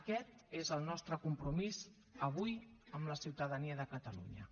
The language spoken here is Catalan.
aquest és el nostre compromís avui amb la ciutadania de catalunya